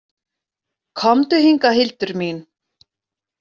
Komdu hingað, Hildur mín!